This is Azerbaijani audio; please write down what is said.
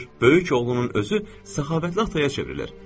Böyük oğlunun özü səxavətli ataya çevrilir.